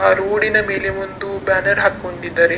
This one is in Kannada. ಆ ರೋಡ್ ನ ಮೇಲೆ ಒಂದು ಬ್ಯಾನರ್ ಹಾಕ್ಕೊಂಡಿದ್ದಾರೆ.